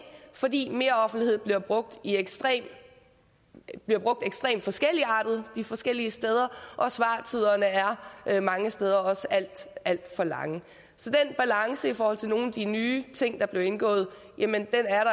fordi meroffentlighed bliver brugt ekstremt forskelligartet de forskellige steder og svartiderne er mange steder også alt alt for lange så den balance i forhold til nogle af de nye ting der blev indgået